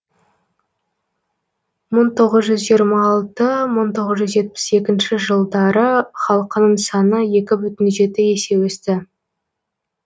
мың тоғыз жүз жиырма алты мың тоғыз жүз жетпіс екінші жылдар халқының саны екі бүтін жеті есе өсті